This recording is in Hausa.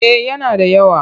Eh yana da yawa.